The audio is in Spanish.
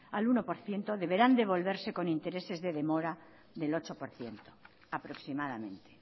al uno por ciento deberán devolverse con intereses de demora del ocho por ciento aproximadamente